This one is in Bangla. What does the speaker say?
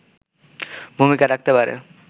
ভূমিকা রাখতে পারে